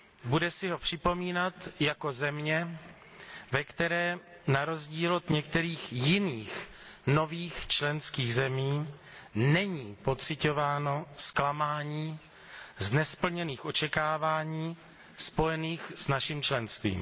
Bude si ho připomínat jako země, ve které, na rozdíl od některých jiných nových členských zemí, není pociťováno zklamání z nesplněných očekávání spojených s naším členstvím.